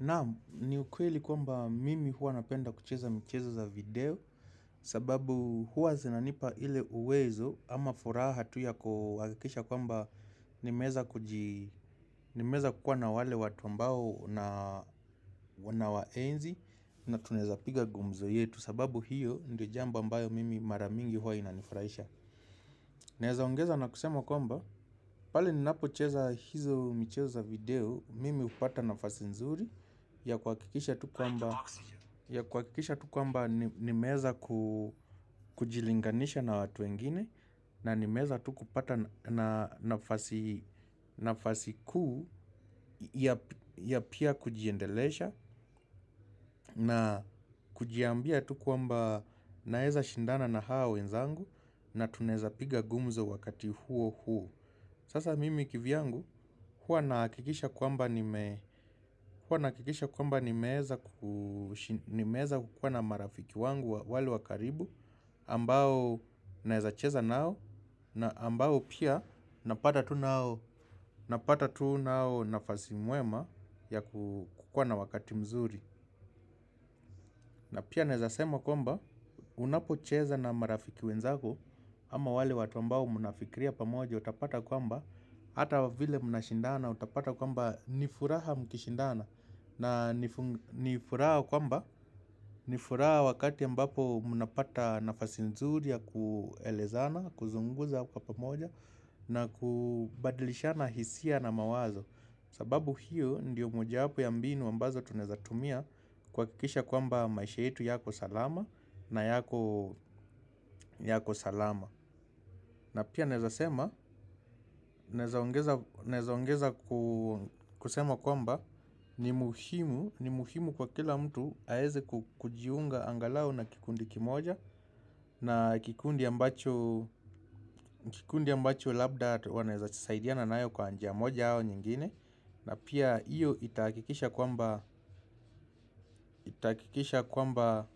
Naam ni ukweli kwamba mimi hua napenda kucheza michezo za video sababu hua zinanipa ile uwezo ama furaha tuya kuhakikisha kwamba nimeweza kukuwa na wale watu ambao una unawa enzi na tunaweza piga gumzo yetu sababu hiyo ndio jambo ambayo mimi maramingi hua inanifurahisha. Naeza ongeza na kusema kwamba, pale ninapo cheza hizo michezoya video, mimi hupata nafasi nzuri ya kuhakikisha tukwamba ni meweza kujilinganisha na watu wengine na ni meweza tukupata nafasi kuu ya pia kujiendelesha na kujiambia tukwamba naeza shindana na hao wenzangu na tunaweza piga gumzo wakati huo huo. Sasa mimi kivyangu huwa nahakikisha kwamba ni meweza kukua na marafiki wangu wale wakaribu ambao nawezacheza nao na ambao pia napata tu nao nafasi mwema ya kukua na wakati mzuri. Na pia nawezasema kwamba unapo cheza na marafiki wenzako ama wale watu ambao mnafikiria pamoja utapata kwamba ata vile mnashindana utapata kwamba nifuraha mkishindana na nifuraha kwamba nifuraha wakati ambapo mnapata nafasi nzuriya kuelezana, kuzungumza kwa pamoja na kubadilishana hisia na mawazo. Sababu hiyo ndiyo mojawapo ya mbinu ambazo tunawezatumia kuha kikisha kwamba maisha yetu yako salama na yako salama. Na pia nawezaongeza kusema kwamba ni muhimu kwa kila mtu aweze kujiunga angalau na kikundi kimoja. Na kikundi ambacho labda wanaweza saidiana na yo kwa njia moja au nyingine. Na pia iyo itahakikisha kwamba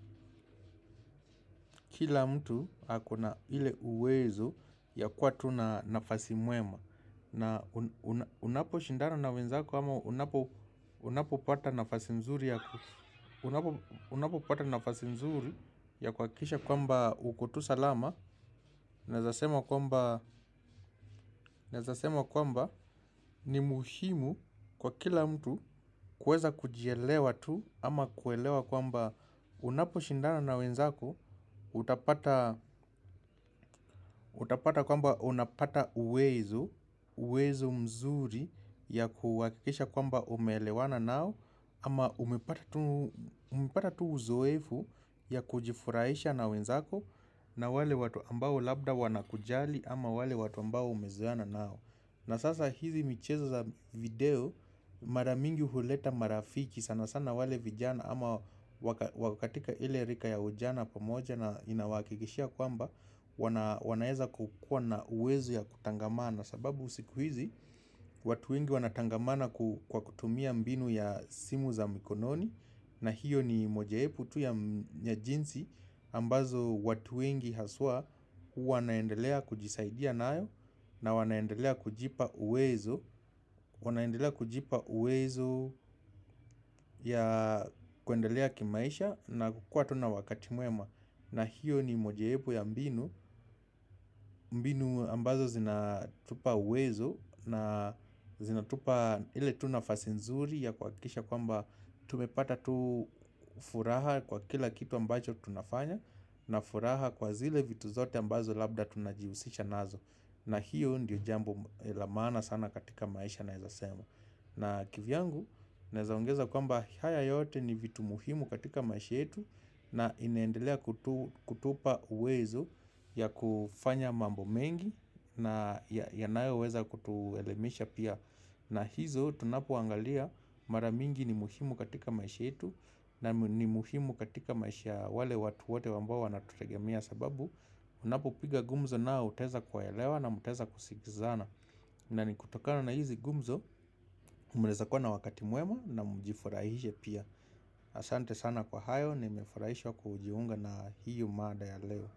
kila mtu ako na ile uwezo ya kuwatu na nafasi mwema. Na unapo shindana na wenzako ama unapo pata nafasi nzuri ya kuhakikisha kwamba ukotu salama. Nawezasema kwamba ni muhimu kwa kila mtu kuweza kujielewa tu ama kuelewa kwamba unapo shindana na wenzako. Utapata kwamba unapata uwezo, uwezo mzuri ya kuhakikisha kwamba umeelewana nao. Ama umepata tu uzoefu ya kujifurahisha na wenzako na wale watu ambao labda wanakujali ama wale watu ambao umezoeana nao. Na sasa hizi michezo za video maramingi huleta marafiki sana sana wale vijana ama wakatika ile rika ya ujana pamoja na inawahakikishia kwamba wanaeza kukua na uwezo ya kutangamana sababu sikuhizi. Watu wengi wanatangamana kwa kutumia mbinu ya simu za mikononi. Na hiyo ni mojawapo tu ya jinsi ambazo watu wengi haswa wanaendelea kujisaidia nayo na wanaendelea kujipa uwezo. Wanaendelea kujipa uwezo ya kwendelea kimaisha na kukua tuna wakati mwema. Na hiyo ni mojawepo ya mbinu, mbinu ambazo zinatupa uwezo na zinatupa ile tunafasinzuri ya kuha kikisha kwamba tumepata tu furaha kwa kila kitu ambacho tunafanya na furaha kwa zile vitu zote ambazo labda tunajihusisha nazo. Na hiyo ndiyo jambo lamaana sana katika maisha nawe zasema. Na kivyangu, nawezaongeza kwamba haya yote ni vitu muhimu katika maishayetu na inaendelea kutupa uwezo ya kufanya mambo mengi na yanayo weza kutuelimisha pia. Na hizo, tunapo angalia maramingi ni muhimu katika maishayetu na ni muhimu katika maisha ya wale watu wote ambao watutegemea sababu. Unapo piga gumzo nao utaweza kuwa elewa na mtaweza kusikizana. Na ni kutokana na hizi gumzo mnaweza kuwa na wakati mwema na mjifurahishe pia. Asante sana kwa hayo ni mefurahishwa kujiunga na hiyo mada ya leo.